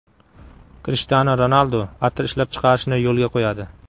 Krishtianu Ronaldu atir ishlab chiqarishni yo‘lga qo‘yadi.